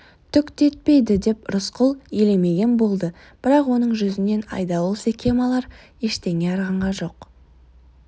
түк те етпейді деп рысқұл елемеген болды бірақ оның жүзінен айдауыл секем алар ештеңе аңғарған жоқ